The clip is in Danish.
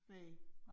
Næ